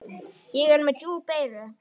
Ég er með djúp eyru.